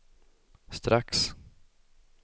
strax